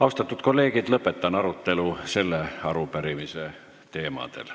Austatud kolleegid, lõpetan arutelu selle arupärimise teemadel.